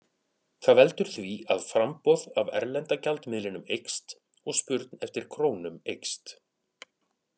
Það veldur því að framboð af erlenda gjaldmiðlinum eykst og spurn eftir krónum eykst.